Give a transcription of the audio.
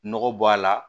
Nɔgɔ bɔ a la